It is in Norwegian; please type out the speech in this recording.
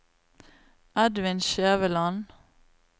Edvin Skjæveland